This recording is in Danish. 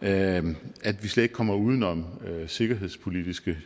at at vi slet ikke kommer uden om sikkerhedspolitiske